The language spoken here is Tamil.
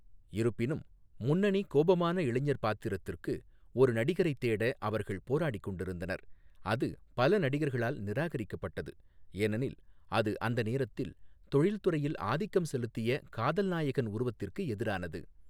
இருப்பினும், முன்னணி கோபமான இளைஞர் பாத்திரத்திற்கு ஒரு நடிகரைத் தேட அவர்கள் போராடிக் கொண்டிருந்தனர், அது பல நடிகர்களால் நிராகரிக்கப்பட்டது, ஏனெனில் அது அந்த நேரத்தில் தொழில்துறையில் ஆதிக்கம் செலுத்திய காதல் நாயகன் உருவத்திற்கு எதிரானது.